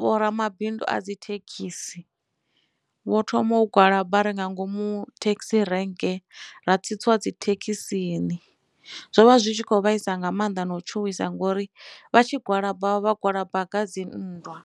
vho ramabindu a dzi thekhisi vho thoma u gwalaba ri nga ngomu thekhisi rank ra tsitsiwa dzithekhisini zwo vha zwi tshi kho vhaisa nga maanḓa na u tshuwisa ngori vha tshi gwalaba vha gwalaba nga dzinndwa.